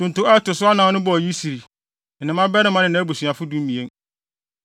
Ntonto a ɛto so anan no bɔɔ Yisri, ne ne mmabarima ne nʼabusuafo (12)